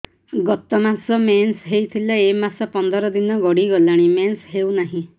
ଗତ ମାସ ମେନ୍ସ ହେଇଥିଲା ଏ ମାସ ପନ୍ଦର ଦିନ ଗଡିଗଲାଣି ମେନ୍ସ ହେଉନାହିଁ